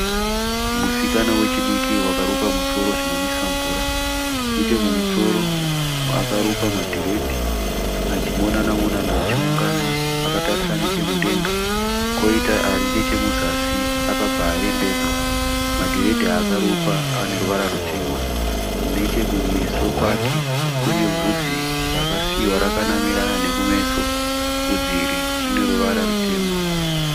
Musikana wechidiki wakarukwa musoro zvinonwisa mvura. Nechemumusoro akarukwa madhiredhi achimonana monana achiungana akatarisa nechemudenga. Koita ari nechemuzasi akabva arambedzwa. Madhiredhi aakarukwa ane ruvara rutema. Nechekumeso kwake kune bvudzi rakasiiwa rakanamirana nekumeso. Bvudzi iri ine ruvara rutema